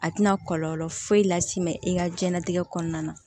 A tɛna kɔlɔlɔ foyi las'i ma i ka diɲɛnatigɛ kɔnɔna na